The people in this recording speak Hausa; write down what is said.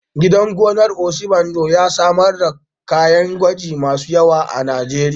Gidan gonar Obasanjo ya samar da ƙwan kaji masu yawa a Najeriya.